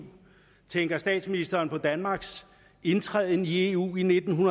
tænker statsministeren på danmarks indtræden i eu i nitten